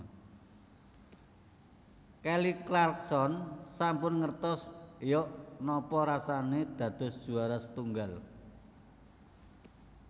Kelly Clarkson sampun ngertos yok nopo rasane dados juwara setunggal